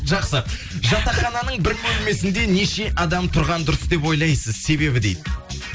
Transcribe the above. жақсы жатақхананың бір бөлмесінде неше адам тұрғаны дұрыс деп ойлайсыз себебі дейді